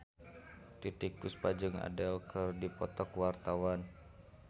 Titiek Puspa jeung Adele keur dipoto ku wartawan